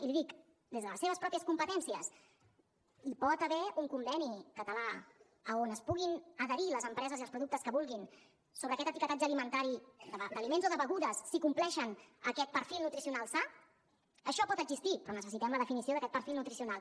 i li dic des de les seves mateixes competències hi pot haver un conveni català on s’hi puguin adherir les empreses i els productes que vulguin sobre aquest etiquetatge alimentari d’aliments o de begudes si compleixen aquest perfil nutricional sa això pot existir però necessitem la definició d’aquest perfil nutricional